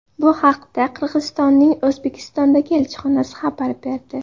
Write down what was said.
Bu haqda Qirg‘izistonning O‘zbekistondagi elchixonasi xabar berdi .